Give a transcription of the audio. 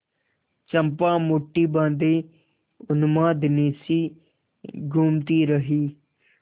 चंपा मुठ्ठी बाँधे उन्मादिनीसी घूमती रही